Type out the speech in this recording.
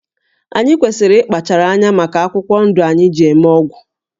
Anyị kwesịrị ịkpachara anya maka akwụkwọ ndụ anyị ji eme ọgwụ